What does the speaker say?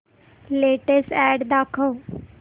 latest ad दाखव